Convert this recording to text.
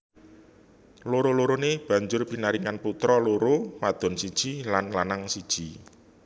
Loro loroné banjur pinaringan putra loro wadon siji lan lanang siji